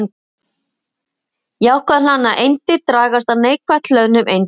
Jákvætt hlaðnar eindir dragast að neikvætt hlöðnum eindum.